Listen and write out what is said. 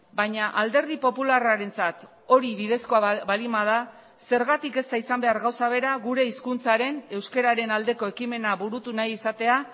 baina alderdi popularrarentzat hori bidezkoa baldin bada zergatik ez da izan behar gauza bera gure hizkuntzaren euskararen aldeko ekimena burutu nahi izatea